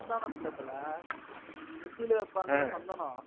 சந்தானம் இல்ல தல, நெத்தில வைப்பாங்கள்ல சந்தனம்.